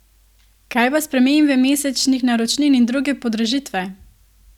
Kaj pa spremembe mesečnih naročnin in druge podražitve?